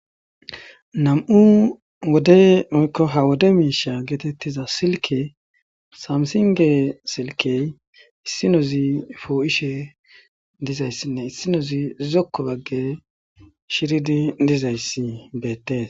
nam'u wode woyko ha wode misha getetiza silke samsinge silkey issinozi po'ishe dizaysinne issinozi zokko bagazi shiridi dizaysi betese